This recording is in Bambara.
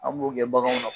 An b'o kɛ baganw na